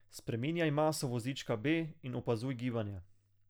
Spreminjaj maso vozička B in opazuj gibanje.